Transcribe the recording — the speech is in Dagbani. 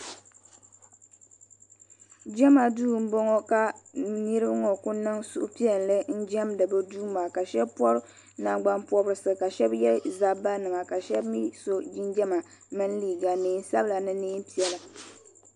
Jema duu m boŋɔ ka niriba ŋɔ kuli niŋ suhupiɛlli n jemdi bɛ duuma ka sheba pobi nangbani pɔrisi ka sheba ye zabba nima ka sheba mee so jinjiɛma mini liiga niɛn sabila ni niɛn'piɛla.